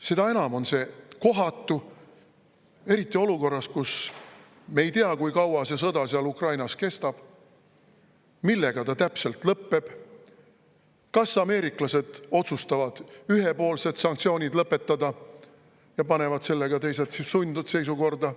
Seda enam on see kohatu, eriti olukorras, kus me ei tea, kui kaua see sõda seal Ukrainas kestab, millega ta täpselt lõpeb, kas ameeriklased otsustavad ühepoolsed sanktsioonid lõpetada ja panevad sellega teised siis sundseisukorda.